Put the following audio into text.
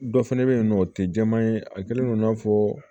Dɔ fɛnɛ be yen nɔ o te jɛman ye a kɛlen don i n'a fɔ